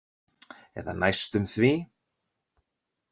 Eða næstum því.